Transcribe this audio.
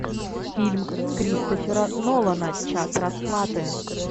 фильм кристофера нолана час расплаты